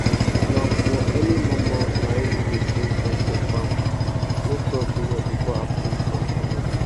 na for early mor mor naim we da sing song for farm make crop do well before afternoon sun comot